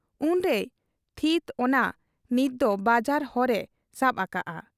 ᱩᱱᱨᱮᱭ ᱛᱷᱤᱛ ᱚᱱᱟ ᱱᱤᱛ ᱫᱚ ᱵᱟᱡᱟᱨ ᱦᱚᱨ ᱮ ᱥᱟᱵ ᱟᱠᱟᱜ ᱟ ᱾